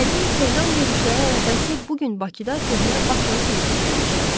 Gərgin Tehran görüşləri ərəfəsi bu gün Bakıda köhnə Bakılı kimi dincələcəyəm.